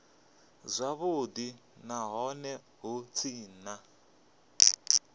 zwavhudi nahone hu tshee na